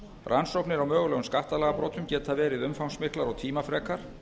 rannsóknir á mögulegum skattalagabrotum geta verið umfangsmiklar og tímafrekar